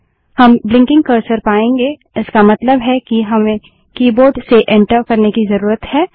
हम blinking cursor पायेंगे इसका मतलब है कि हमें कीबोर्ड से एंटर करने की जरूरत है